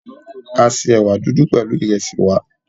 A se ẹ̀wà dúdú pẹ̀lú ìresì wa.